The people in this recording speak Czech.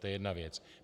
To je jedna věc.